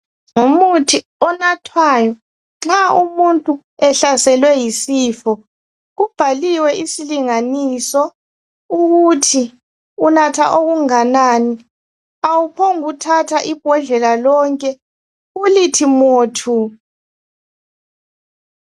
Ngumuthi onathwayo nxa umuntu ehlaselwe yisifo. Kubhaliwe isilinganiso ukuthi unatha okunganani. Awuphongi ukuthatha ibhodlela lonke ulithi mothu.